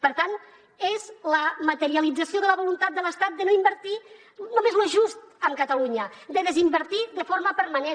per tant és la materialització de la voluntat de l’estat de no invertir només lo just en catalunya de desinvertir de forma permanent